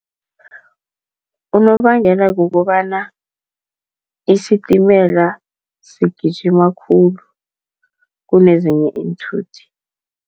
Unobangela kukobana isitimela sigijima khulu kunezinye iinthuthi.